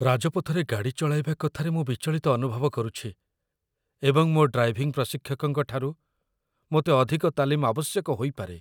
ରାଜପଥରେ ଗାଡ଼ି ଚଳାଇବା କଥାରେ ମୁଁ ବିଚଳିତ ଅନୁଭବ କରୁଛି, ଏବଂ ମୋ ଡ୍ରାଇଭିଂ ପ୍ରଶିକ୍ଷକଙ୍କଠାରୁ ମୋତେ ଅଧିକ ତାଲିମ ଆବଶ୍ୟକ ହୋଇପାରେ